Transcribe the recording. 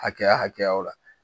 Hakɛya hakɛyaw la.